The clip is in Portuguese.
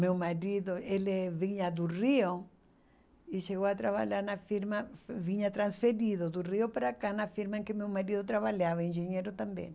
Meu marido, ele vinha do Rio e chegou a trabalhar na firma, vinha transferido do Rio para cá na firma que meu marido trabalhava, engenheiro também.